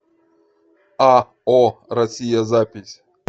ао россия запись